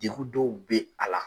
Degu dɔw bɛ a la.